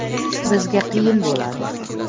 Bizga qiyin bo‘ladi.